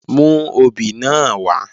Mú obì náà wá!